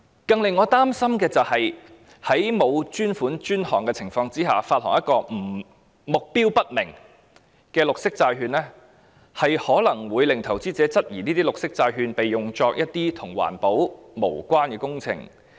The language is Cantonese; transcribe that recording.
更令我擔心的是，不以專款專項來發行目標不明的綠色債券，可能會令投資者質疑綠色債券會被用作一些與環保無關的工程。